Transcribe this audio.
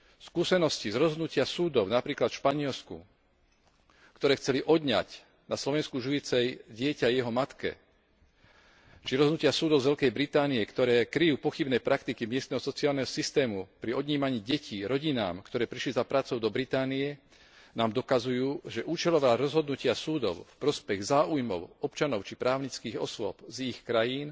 Skúsenosti z rozhodnutia súdov, napríklad v Španielsku, ktoré chceli odňať na Slovensku žijúce dieťa jeho matke, či rozhodnutia súdov z Veľkej Británie, ktoré kryjú pochybné praktiky miestneho sociálneho systému pri odnímaní detí rodinám, ktoré prišli za prácou do Británie, nám dokazujú, že účelové rozhodnutia súdov v prospech záujmov občanov či právnických osôb z ich krajín